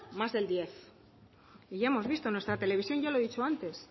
más del diez por ciento y ya hemos visto nuestra televisión ya lo he dicho antes